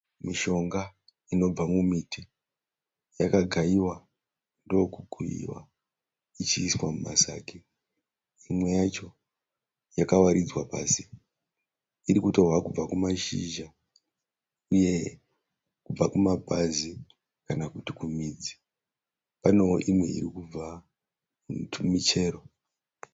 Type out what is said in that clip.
Mishonga inobva mumiti. Yakagaiwa ndokukuyiwa ichiiswa mumasagi. Imweyacho yakawaridzwa pasi. Irikutorwa kubva kumashizha uye kubva kumapazi kana kuti kumídzi. Paneo imwe irikubva kumiti michero.